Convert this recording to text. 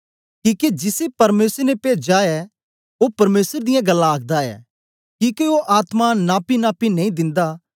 किके जिसी परमेसर ने पेजा ऐ ओ परमेसर दियां गल्लां आखदा ऐ किके ओ आत्मा नापीनापी नेई दिंदा